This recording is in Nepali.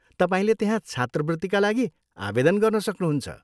तपाईँले त्यहाँ छात्रवृत्तिका लागि आवेदन गर्न सक्नुहुन्छ।